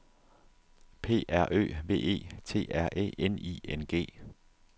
P R Ø V E T R Æ N I N G